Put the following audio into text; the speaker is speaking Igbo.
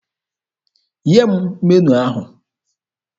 Nye m meniu ahụ!